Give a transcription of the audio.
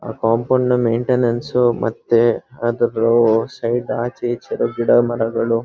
ಆ compound maintenance ಮತ್ತೆ ಅದ ರೋಡ್ ಸೈಡ್ ಆಚೆ ಈಚೆ ಗಿಡ ಮರಗಳು.